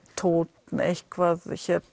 tónn eitthvað